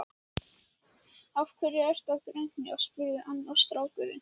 Af hverju ertu að grenja? spurði annar strákurinn.